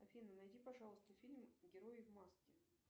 афина найди пожалуйста фильм герои в маске